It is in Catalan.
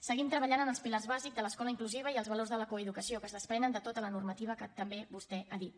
seguim treballant en els pilars bàsics de l’escola inclusiva i els valors de la coeducació que es desprenen de tota la normativa que també vostè ha dit